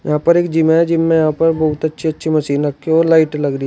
यहां पर एक जिम है जिम में यहां पर बहुत अच्छी अच्छी मशीन रखे है और लाइट लग रही--